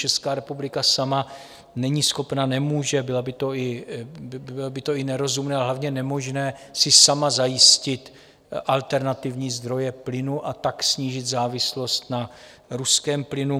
Česká republika sama není schopna - nemůže, bylo by to i nerozumné a hlavně nemožné - si sama zajistit alternativní zdroje plynu a tak snížit závislost na ruském plynu.